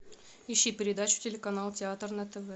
ищи передачу телеканал театр на тв